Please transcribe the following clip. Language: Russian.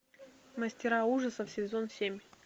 мастера ужасов сезон семь